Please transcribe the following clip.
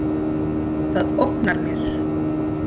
Það ógnar mér.